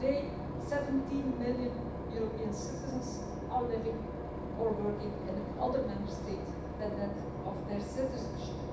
Today, 17 million European citizens are living or working in another Member State than that of their citizenship.